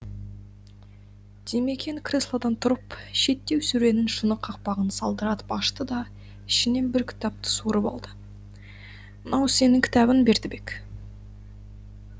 димекең креслодан тұрып шеттеу сөренің шыны қақпағын сылдыратып ашты да ішінен бір кітапты суырып алды мынау сенің кітабың бердібек